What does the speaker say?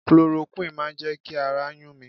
Cloroquine máa jẹ́ kí ara yún mi.